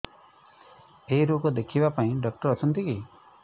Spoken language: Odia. ଏଇ ରୋଗ ଦେଖିବା ପାଇଁ ଡ଼ାକ୍ତର ଅଛନ୍ତି କି